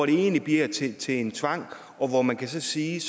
egentlig bliver til til en tvang hvor man kan sige